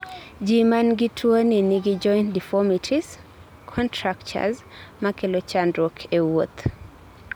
ji manigi tuwoni nigi joint deformities(contractures)makelo chandruok e wuoth